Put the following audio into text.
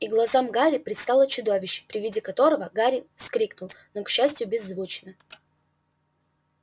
и глазам гарри предстало чудовище при виде которого гарри вскрикнул но к счастью беззвучно